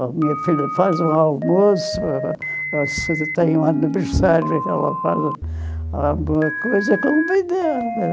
Ou a minha filha faz um almoço, ou ou se tem um aniversário, ela faz alguma coisa, convida...